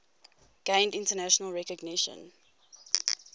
gained international recognition